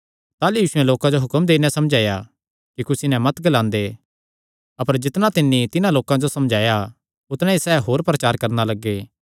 ताह़लू यीशुयैं लोकां जो हुक्म देई नैं समझाया कि कुसी नैं मत ग्लांदे अपर जितणा तिन्नी तिन्हां लोकां जो समझाया उतणा ई सैह़ होर प्रचार करणा लग्गे